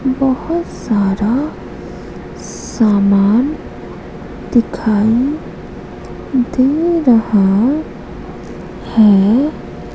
बहुत सारा सामान दिखाई दे रहा है।